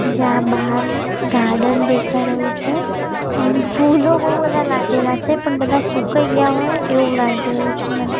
જ્યાં બાહર ગાર્ડન દેખાય રહ્યું છે અન ફૂલો બો બધા લાગેલા છે પણ બધા સુકાઈ ગ્યા હોય એવું લાગી રહ્યું છે મને.